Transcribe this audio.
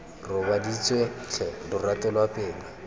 robaditswe tlhe lorato lwa pelo